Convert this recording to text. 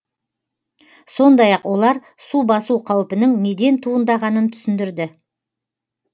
сондай ақ олар су басу қаупінің неден туындағанын түсіндірді